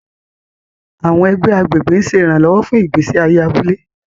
Àwọn ẹgbẹ́ agbègbè ń ṣe ìrànlọ́wọ́ fún ìgbésí ayé abúlé.